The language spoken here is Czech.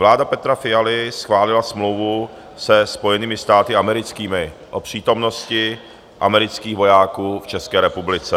Vláda Petra Fialy schválila smlouvu se Spojenými státy americkými o přítomnosti amerických vojáků v České republice.